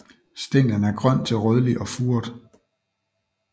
Stænglen er grøn til rødlig og furet